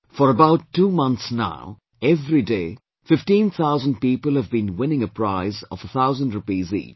For about two months now, everyday fifteen thousand people have been winning a prize of a thousand rupees each